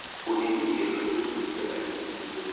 unelungelo lokudlulisela isililo